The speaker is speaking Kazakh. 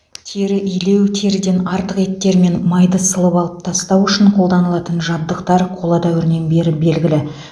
тері илеу теріден артық еттер мен майды сылып алып тастау үшін қолданылатын жабдықтар қола дәуірінен бері белгілі